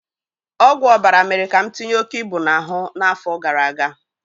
Ọgwụ ọbara mere ka m tinye oke ibu n'ahụ n'afọ gara aga